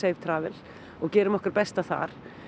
Safetravel og gerum okkar besta þar